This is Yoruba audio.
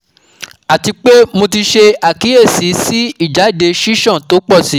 Atipe mo ti se akiyesi si ijade sisan to po si